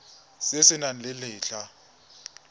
se se nang le letlha